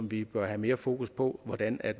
vi bør have mere fokus på hvordan